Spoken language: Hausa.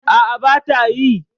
A'a, ba ta yi.